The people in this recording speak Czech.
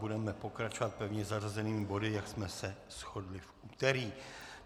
Budeme pokračovat pevně zařazenými body, jak jsme se shodli v úterý.